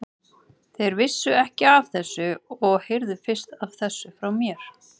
Þeir vissu ekki af þessu og heyrðu fyrst af þessu frá mér.